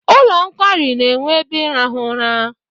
Ụlọ nkwari na-enwe ebe ịrahụ ụra.